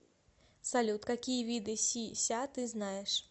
салют какие виды си ся ты знаешь